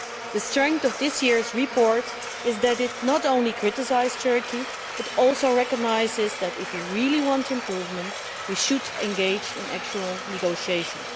The strength of this year's report is that it not only criticises Turkey but also recognises that if we really want improvements we should engage in actual negotiations.